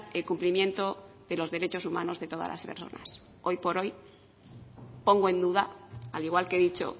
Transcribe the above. el cumplimiento de los derechos humanos de todas las personas hoy por hoy pongo en duda al igual que he dicho